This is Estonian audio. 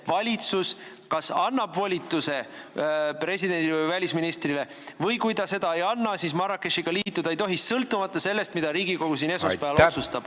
Valitsus annab volituse presidendile või välisministrile, aga kui ta seda ei anna, siis Marrakechi leppega liituda ei tohi, sõltumata sellest, mida Riigikogu siin esmaspäeval otsustab.